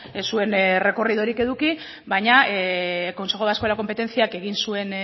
ez zuen errekorridorik eduki baina consejo vasco de la competenciak egin zuen